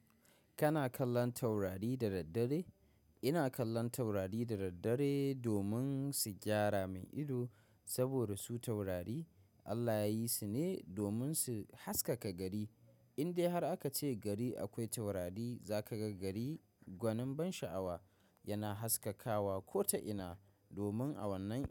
Kana kallon taurari da daddare? Ina kallon taurari da daddare domin su gyara min ido, saboda su taurari Allah yayi su ne domin su haskaka gari. Indai har aka ce gari akwai taurari za ka ga gari gwanin ban sha'awa yana haskakawa ko ta ina domin awannan ya.